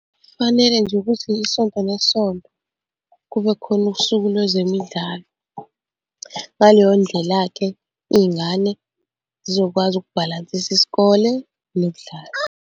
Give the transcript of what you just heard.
Kufanele nje ukuthi isonto nesonto kube khona usuku lwezemidlalo. Ngaleyo ndlela-ke, iy'ngane zizokwazi ukubhalansisa isikole nokudlala.